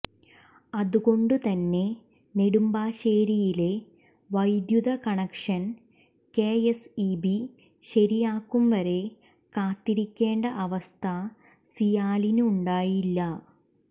അതുകൊണ്ട് തന്നെ നെടുമ്പാശ്ശേരിയിലെ വൈദ്യുത connection K S E B ശരിയാക്കും വരെ കാത്തിരിക്കേണ്ട അവസ്ഥ സിയാലിനുണ്ടായില്ല